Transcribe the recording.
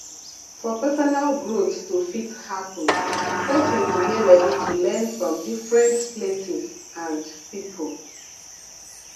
for personal growth to fit happen person go dey ready to learn from different places and pipo